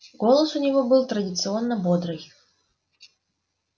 голос у него был традиционно бодрый